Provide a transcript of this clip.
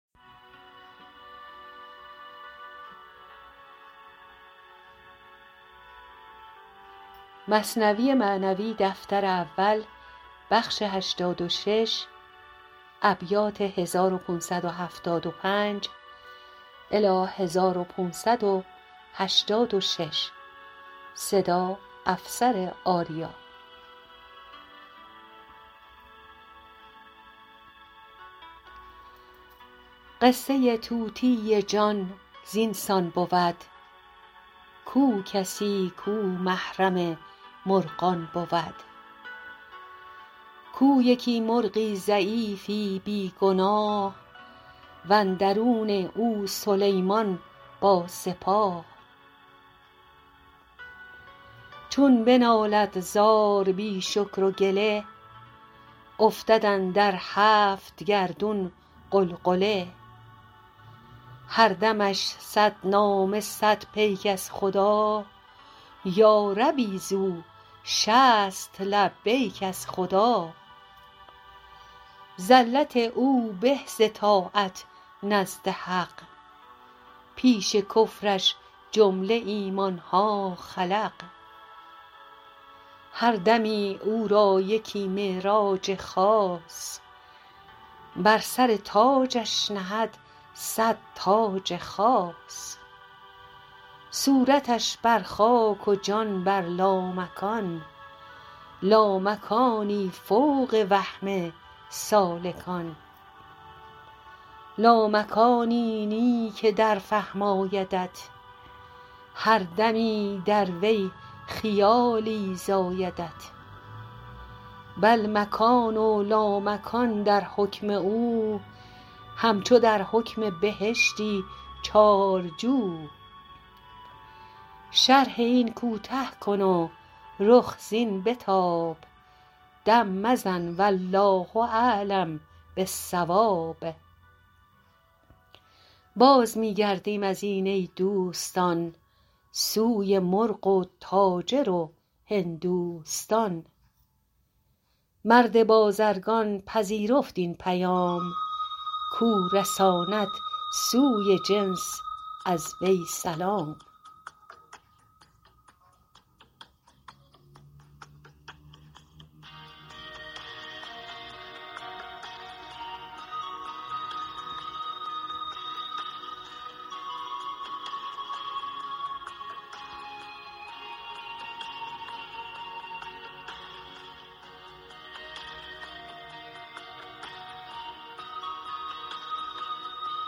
قصه طوطی جان زین سان بود کو کسی کو محرم مرغان بود کو یکی مرغی ضعیفی بی گناه و اندرون او سلیمان با سپاه چون به نالد زار بی شکر و گله افتد اندر هفت گردون غلغله هر دمش صد نامه صد پیک از خدا یا ربی زو شصت لبیک از خدا زلت او به ز طاعت نزد حق پیش کفرش جمله ایمانها خلق هر دمی او را یکی معراج خاص بر سر تاجش نهد صد تاج خاص صورتش بر خاک و جان بر لامکان لامکانی فوق وهم سالکان لامکانی نه که در فهم آیدت هر دمی در وی خیالی زایدت بل مکان و لامکان در حکم او همچو در حکم بهشتی چار جو شرح این کوته کن و رخ زین بتاب دم مزن والله اعلم بالصواب باز می گردیم ما ای دوستان سوی مرغ و تاجر و هندوستان مرد بازرگان پذیرفت این پیام کو رساند سوی جنس از وی سلام